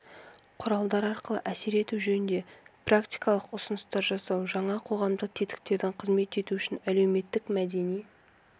құралдар арқылы әсер ету жөнінде практикалық ұсыныстар жасау жаңа қоғамдық тетіктердің қызмет етуі үшін әлеуметтік-мәдени